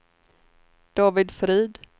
David Frid